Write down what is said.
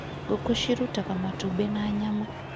Ngũkũ cirutaga matumbĩ na nyama.